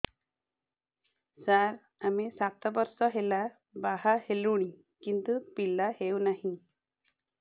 ସାର ଆମେ ସାତ ବର୍ଷ ହେଲା ବାହା ହେଲୁଣି କିନ୍ତୁ ପିଲା ହେଉନାହିଁ